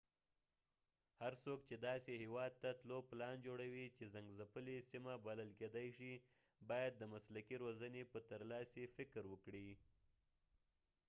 هر څوک چې داسې هېواد ته تلو پلان جوړوي چې جنګځپلې سیمه بلل کېدای شي باید د مسلکي روزنې په ترلاسي فکر وکړي